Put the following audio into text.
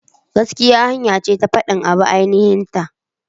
Gaskiya hanya ce ta fadin abu a aininhin ta.